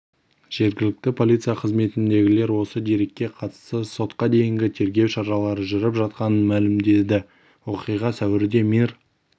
жергілікті полиция қызметіндегілер осы дерекке қатысты сотқа дейінгі тергеу шаралары жүріп жатқанын мәлімдеді оқиға сәуірде мир